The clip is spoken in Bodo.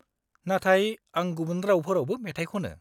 -नाथाय आं गुबुन रावफोरावबो मेथाइ खनो।